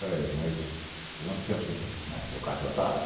Peraí, mas quanto tempo você tra... Eh, meu cartão está